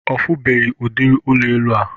Ọ funubeghi udiri ụlọ elu a